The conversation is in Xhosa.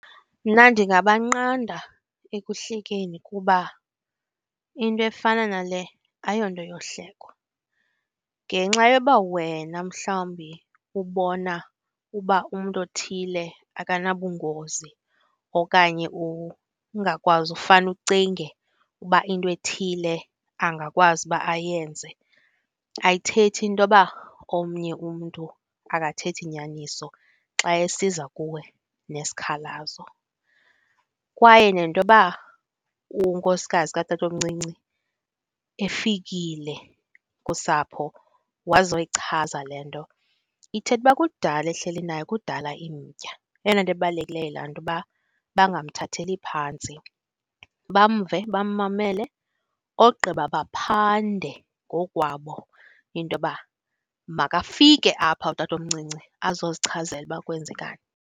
Mna ndingabanqanda ekuhlekeni kuba into efana nale ayonto yohlekwa. Ngenxa yoba wena mhlawumbi ubona uba umntu othile akanabungozi okanye ungakwazi ufane ucinge uba into ethile angakwazi uba ayenze, ayithethi intoba omnye umntu akathethi nyaniso xa esiza kuwe nesikhalazo. Kwaye nentoba unkosikazi katatomncinci efikile kusapho wazoyichaza le nto ithetha uba kudala ehleli nayo, kudala imtya. Eyona nto ibalulekileyo yilaa nto uba bangamthatheli phantsi, bamve, bammamele ogqiba baphande ngokukwabo intoba makafike apha utatomncinci azozichazela uba kwenzekani.